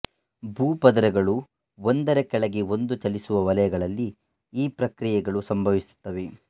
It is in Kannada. ಭೂಪದರಗಳು ಒಂದರ ಕೆಳಗೆ ಒಂದು ಚಲಿಸುವ ವಲಯಗಳಲ್ಲಿ ಈ ಪ್ರಕ್ರಿಯೆಗಳು ಸಂಭವಿಸುತ್ತವೆ